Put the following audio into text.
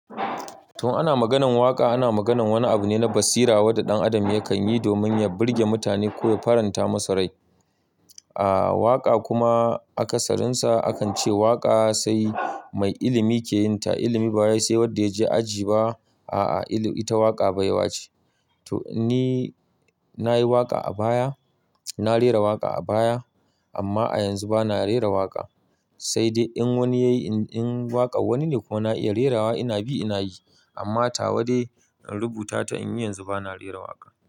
Tun in ana maganan waƙa, ana maganan wani abu ne na basira wanda ɗan adam ya kan yi domin ya burge mutane ko ya faranta musu rai. A'a waƙa kuma akasarin sa akan ce waƙa sai mai ilimi ke yin ta. Ilimi ba wai sai wanda ya je aji ba. A'a, ita waƙa baiwa ce. To ni nayi waƙa a baya, na rera waƙa a baya amma a yanzu bana rera waƙa. Sai dai in wani yayi in waƙa wani ne ko na iya rerawa ina bi ina yi amma tawa dai in rubuta ta in yi yanzu bana rera waƙa.